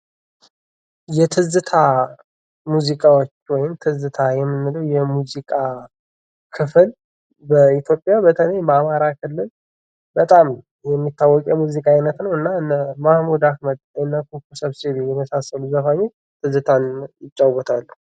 የትዝታ ሙዚቃዎች ወይም ደግሞ ትዝታ የምንለው የሙዚቃ ክፍል በኢትዮጵያ በተለይ በአማራ ክልል በጣም የሚታወቅ የሙዚቃ አይነት ነው እና ሙሀሙድ አህመድ ኩኩ ሰብስቤ የመሳሰሉት ዘፋኞች ትዝታን ይጫወታሉ::